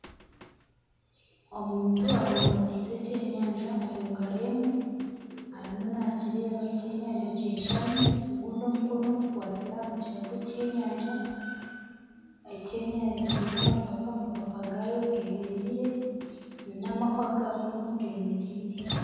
Omuntu abumbatinze ekyenyanja omu ngaro emwe arimu nakireeba ekyenyanja kyeshami, ogundi omukono gukwatsire aha mukira gw'ekyenyanja. Ekyenyanja kyine amapapa, amapapa gakyo gemereire nana amahwa gakunu gemereire.